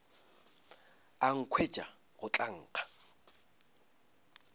a nkhwetša go tla nkga